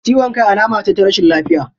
Ciwon kai alama ce ta rashin lafiya.